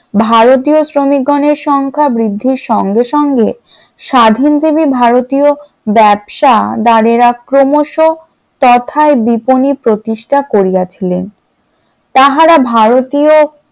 ভারতীয় শ্রমিক গণের সংখ্যা বৃদ্ধির সঙ্গে সঙ্গে স্বাধীন জিবি ভারতীয় ব্যবসা বাড়ে ক্রমশ কথার বিপন্নী প্রতিষ্ঠা করিয়াছিলেন। তাহারা ভারতীয়